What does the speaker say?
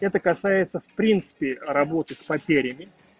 это касается в принципе работы с потерями